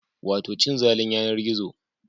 Wato cin zalin yanar gizo